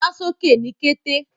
Wà sókè ní kẹ̀tẹ̀!